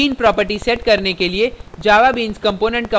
bean property set करने के लिए javabeans component का उपयोग करें और